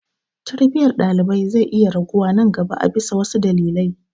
Tarbiyyar ɗalibai zai iya raguwa nan gaba a bisa wasu dalilai.